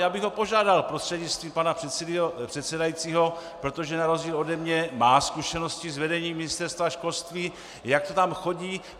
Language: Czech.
Já bych ho požádal prostřednictvím pana předsedajícího, protože na rozdíl ode mě má zkušenosti s vedením Ministerstva školství, jak to tam chodí.